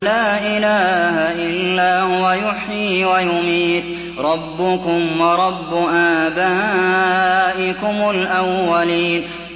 لَا إِلَٰهَ إِلَّا هُوَ يُحْيِي وَيُمِيتُ ۖ رَبُّكُمْ وَرَبُّ آبَائِكُمُ الْأَوَّلِينَ